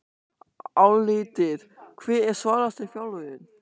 Álitið: Hver er svalasti þjálfarinn?